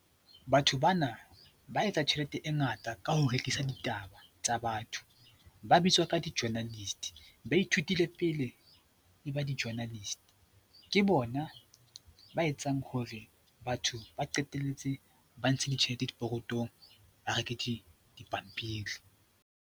Batho ba na ba etsa tjhelete e ngata ka ho rekisa ditaba tsa batho. Ba bitswa ka di-journalist, ba ithutile pele e ba di-journalist. Ke bona ba etsang hore batho ba qetelletse ba ntsha ditjhelete dipokothong ba reke dipampiri.